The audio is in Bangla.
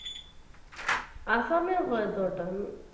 Assam ও হয়তো ওটা